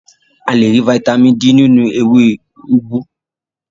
A le rí fataímìn D nínú ewé úgú.